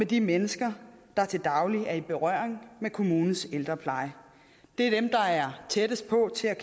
de mennesker der til daglig er i berøring med kommunens ældrepleje det er dem der er tættest på til at